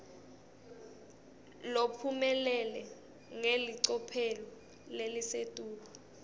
lophumelele ngelicophelo lelisetulu